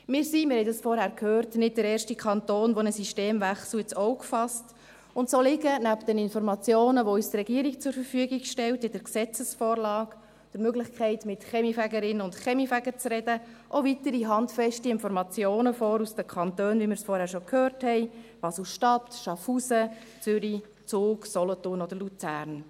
Wir sind nicht der erste Kanton – wir haben dies vorhin gehört –, der einen Systemwechsel ins Auge fasst, und so liegen neben den Informationen, die uns die Regierung in der Gesetzesvorlage zur Verfügung stellt sowie der Möglichkeit, mit Kaminfegerinnen und Kaminfegern zu sprechen, auch weitere handfeste Informationen aus den Kantonen vor, wie wir es vorhin schon gehört haben: Basel-Stadt, Schaffhausen, Zürich, Zug, Solothurn oder Luzern.